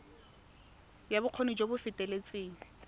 ya bokgoni jo bo feteletseng